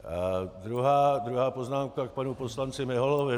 Druhá poznámka k panu poslanci Miholovi.